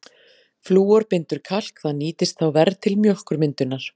Flúor bindur kalk, það nýtist þá verr til mjólkurmyndunar.